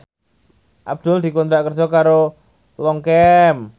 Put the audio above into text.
Abdul dikontrak kerja karo Longchamp